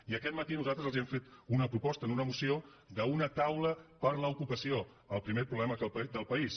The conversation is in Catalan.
i aquest matí nosaltres els hem fet una proposta amb una moció d’una taula per l’ocupació el primer problema del país